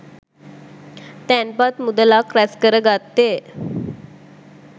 තැන්පත් මුදලක් රැස්කර ගත්තේ